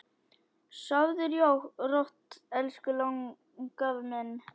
Sofðu rótt elsku langafi minn.